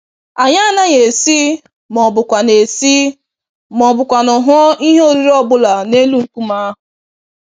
Anyị anaghị esi, mọbụkwanụ esi, mọbụkwanụ hụọ ihe oriri ọbula n'elu nkume ahụ.